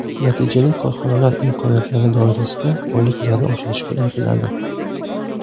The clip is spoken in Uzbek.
Natijada korxonalar imkoniyatlari doirasida oyliklarni oshirishga intiladi.